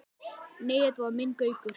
Nei, þetta var minn Gaukur.